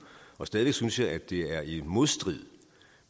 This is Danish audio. stadig væk synes jeg det er i modstrid